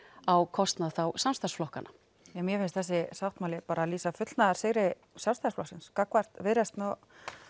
á kostnað samstarfsflokkana mér finnst þessi sáttmáli lýsa fullnaðarsigri Sjálfstæðisflokksins gagnvart Viðreisn og